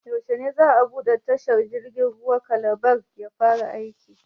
Yaushe ne za a buɗe tashar jirgin ruwan Calabar ya fara aiki?